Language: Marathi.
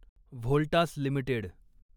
व्होल्टास लिमिटेड